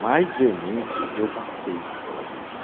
Mais veemente, eu passei pela vida.